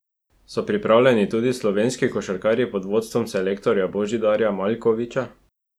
So pripravljeni tudi slovenski košarkarji pod vodstvom selektorja Božidarja Maljkovića?